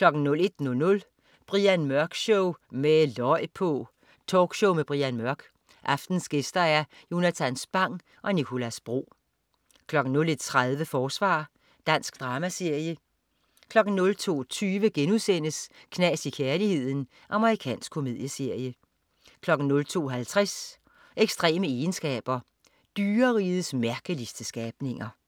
01.00 Brian Mørk Show, med løg på! Talkshow med Brian Mørk. Aftenens gæster: Jonatan Spang og Nicolas Bro 01.30 Forsvar. Dansk dramaserie 02.20 Knas i kærligheden.* Amerikansk komedieserie 02.50 Ekstreme egenskaber. Dyrerigets mærkeligeste skabninger